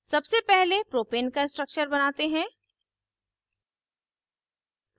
सबसे पहले propane का structure बनाते हैं